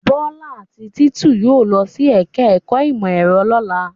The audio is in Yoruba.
Bọ́lá àti Títù yóò lọ sí ẹ̀ka-ẹ̀kọ́ ìmọ̀-ẹ̀rọ lọ́la.